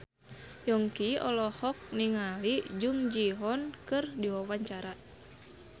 Yongki olohok ningali Jung Ji Hoon keur diwawancara